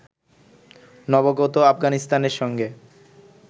নবাগত আফগানিস্তানের সঙ্গে